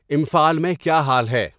امفال میں کیا حال ہے